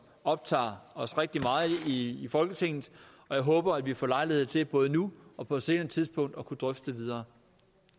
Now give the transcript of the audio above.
optager os rigtig meget i folketinget og jeg håber at vi får lejlighed til både nu og på et senere tidspunkt at kunne drøfte det videre